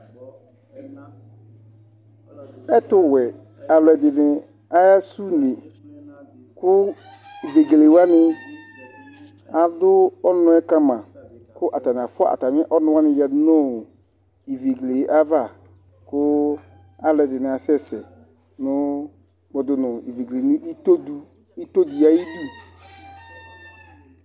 ɛtuwɛ alʋɛdìní ahasʋne ku vegelewani, adʋɔnuɛ kama ku atani afʋa atami ɔnʋwani yanu vegele ayava ku alʋɛdìní ahasɛsɛ kpɔɖunʋ vegele nu itodi ayʋdu